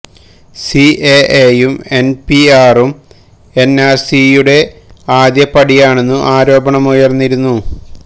C A A യും N P ആറും N R C യുടെ ആദ്യപടിയാണെന്നു ആരോപണമുയർന്നിരുന്നു